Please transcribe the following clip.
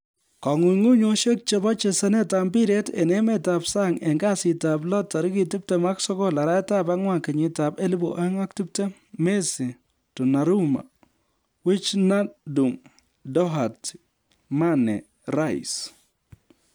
Kong'unguyosiek chebo chesanetab mpiret en emetab sang en kasitab lo 29/04/2020: Messi, Donnarumma, Wijnaldum, Doherty, Mane, Rice